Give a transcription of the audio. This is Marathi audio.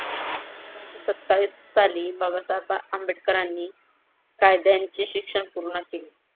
एकोणीशे सत्तावीस साली बाबासाहेब आंबेडकरांनी कायद्यांचे शिक्षण पूर्ण केले.